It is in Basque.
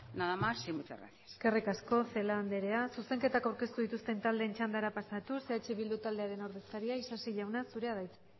nada más y muchas gracias eskerrik asko celaá andrea zuzenketak aurkeztu dituzten taldeen txandara pasatuz eh bildu taldearen ordezkaria isasi jauna zurea da hitza